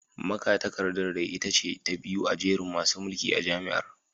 Magatakardar dai ita ce ta biyu a jerin masu mulki a jami’ar